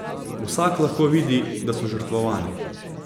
Vsak lahko vidi, da so žrtvovani.